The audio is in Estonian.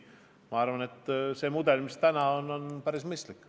Ma arvan, et see mudel, mis praegu kasutusel on, on päris mõistlik.